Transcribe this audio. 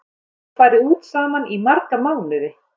Þau hafa ekki farið út saman í marga mánuði.